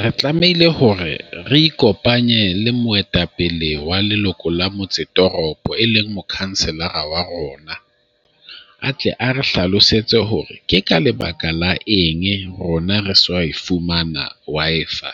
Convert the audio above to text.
Re tlamehile hore re ikopanye le moetapele wa leloko la motse toropo e leng mokhanselara wa rona. A tle a re hlalosetse hore ke ka lebaka la eng rona re sa fumana wa Wi-Fi,